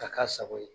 Ka k'a sago ye